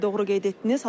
Bəli, doğru qeyd etdiniz.